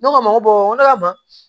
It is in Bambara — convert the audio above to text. Ne ko a ma n ko n ko ne ka ban